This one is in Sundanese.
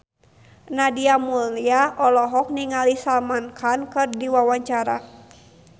Nadia Mulya olohok ningali Salman Khan keur diwawancara